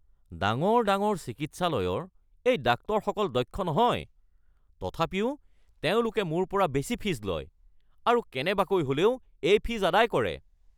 ডাঙৰ ডাঙৰ চিকিৎসালয়ৰ এই ডাক্তৰসকল দক্ষ নহয়, তথাপিও তেওঁলোকে মোৰ পৰা বেছি ফীজ লয় আৰু কেনেবাকৈ হ'লেও এই ফীজ আদায় কৰে।